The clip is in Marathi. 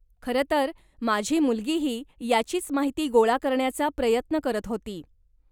खरंतर, माझी मुलगीही याचीच माहिती गोळा करण्याचा प्रयत्न करत होती.